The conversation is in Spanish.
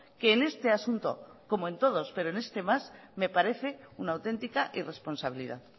que en este asunto como en todos pero en este más me parece una auténtica irresponsabilidad